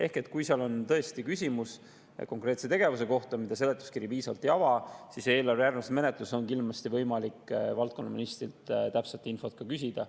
Ehk kui tõesti on küsimus konkreetse tegevuse kohta, mida seletuskiri piisavalt ei ava, siis on eelarve järgmises menetluses kindlasti võimalik valdkonna ministrilt täpset infot küsida.